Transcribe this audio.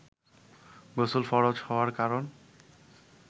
গোসল ফরজ হওয়ার কারন